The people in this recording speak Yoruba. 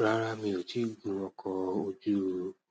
Rárá, mi ò tí ì gun ọkọ̀ ojú